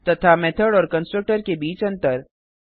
तथा मेथड और कंस्ट्रक्टर के बीच अंतर